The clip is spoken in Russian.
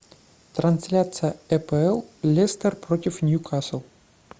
трансляция апл лестер против ньюкасл